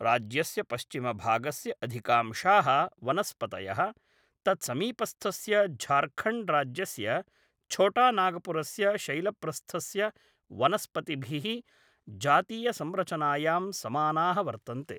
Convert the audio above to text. राज्यस्य पश्चिमभागस्य अधिकांशाः वनस्पतयः, तत्समीपस्थस्य झार्खण्ड्राज्यस्य छोटानागपुरस्य शैलप्रस्थस्य वनस्पतिभिः जातीयसंरचनायां समानाः वर्तन्ते।